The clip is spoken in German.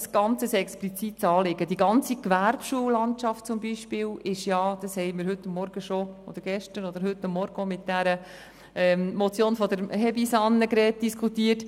Die ganze Gewerbeschullandschaft wurde beispielsweise gestern oder heute Morgen auch mit der Motion Hebeisen diskutiert.